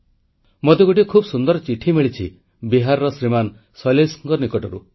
ମୋତେ ଗୋଟିଏ ଖୁବ୍ ସୁନ୍ଦର ଚିଠି ମିଳିଛି ବିହାରର ଶ୍ରୀମାନ ଶୈଳେଶଙ୍କ ନିକଟରୁ